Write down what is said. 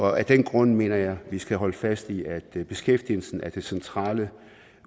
af den grund mener jeg at vi skal holde fast i at beskæftigelsen er det centrale